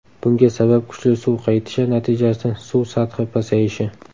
Bunga sabab kuchli suv qaytishi natijasida suv sathi pasayishi.